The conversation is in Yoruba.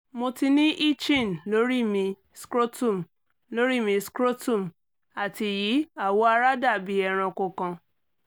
mo ni itching lori mi scrotum lori mi scrotum ati yi awọ ara dabi eranko kan